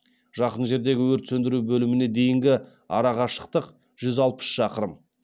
жақын жердегі өрт сөндіру бөліміне дейінгі арақашықтық жүз алпыс шақырым